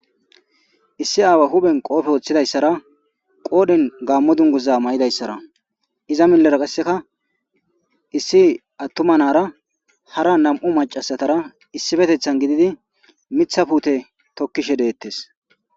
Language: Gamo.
Issi aawa huphen qoofe woththidayssara qoodhin gaammo dunguza may'idayssara iza millera qasseka issi attumanara hara nam'u macasatara issifetethan gididi mitha puute tokkishe deettes.